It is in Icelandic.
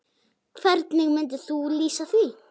Hvernig myndir þú lýsa því?